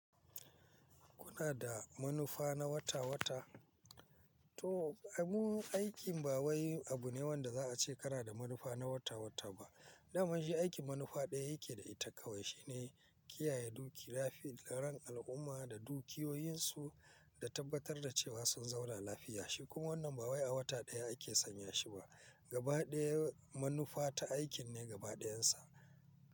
Kuna da manufa na wata-wata? To, abun aikin ba wai abu ne wanda za a ce kana da manufa na wata-wata ba. Idan mun ji aikin manufa ɗaya yake da ita kawai shine kiyaye duk lafi-laran al'umma da dukiyoyinsu ka tabbatar da cewa sun zaula lafiya. Shikun wannan ba wai a wata ɗaya ake sanya shi ba. Gaba ɗaya manufa ta aikin ne gaba ɗayansa.